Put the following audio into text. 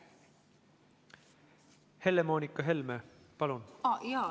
Helle-Moonika Helme, palun!